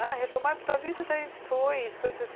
A retomada da vida daí foi, isso foi em sessen.